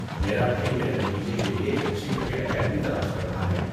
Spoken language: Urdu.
میرا بھائی میرے بھتیجے کے لیے ایک اچھی کرکٹ اکیڈمی تلاش کر رہا ہے۔